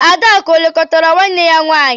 Adakụ o lekọtara nwanne ya nwaanyị?